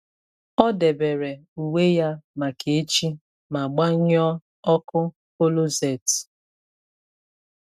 Ọ debere uwe ya maka echi ma gbanyụọ ọkụ kọlọset.